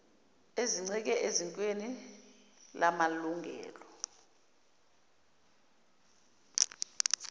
ezincike esikweni lamalungelo